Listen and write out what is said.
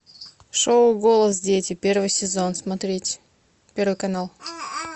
шоу голос дети первый сезон смотреть первый канал